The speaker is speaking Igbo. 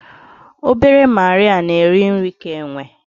Obere Marịa na-eri nri ka enwe